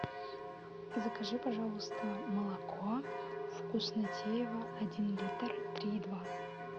закажи пожалуйста молоко вкуснотеево один литр три и два